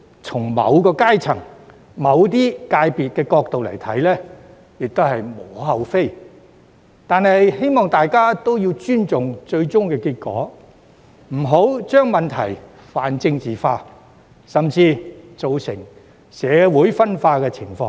從某些階層或界別的角度來看，有關做法可能無可厚非，但我希望大家尊重最終結果，不要將問題泛政治化，甚至造成社會分化的現象。